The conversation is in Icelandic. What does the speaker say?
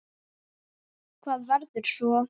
Hvað verður svo?